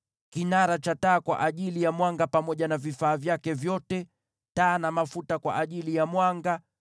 kinara cha taa kwa ajili ya mwanga pamoja na vifaa vyake vyote, taa na mafuta kwa ajili ya mwanga;